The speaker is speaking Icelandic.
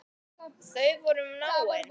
Þau voru náin.